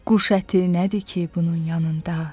Quş əti nədir ki, bunun yanında.